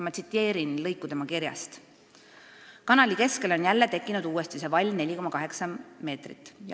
Ma tsiteerin lõiku tema kirjast: "Kanali keskele on jälle tekkinud uuesti see vall 4,8 meetrit.